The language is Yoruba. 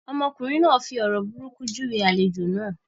Ọmọkùnrin náà fi ọ̀rọ̀ burúkú júwe àlejò náà.